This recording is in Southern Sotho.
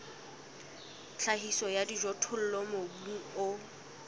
tlhahiso ya dijothollo mobung o